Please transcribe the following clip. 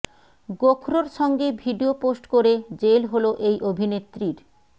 গোখরোর সঙ্গে video post করে jail হল এই অভিনেত্রীর